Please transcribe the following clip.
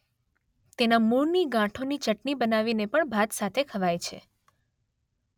તેના મૂળની ગાંઠોની ચટની બનાવીને પણ ભાત સાથે ખવાય છે